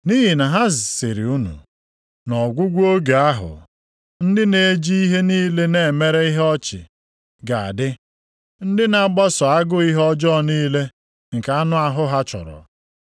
Nʼihi na ha sịrị unu, “Nʼọgwụgwụ oge ahụ, ndị na-eji ihe niile na-emere ihe ọchị ga-adị. Ndị na-agbaso agụ ihe ọjọọ niile nke anụ ahụ ha chọrọ.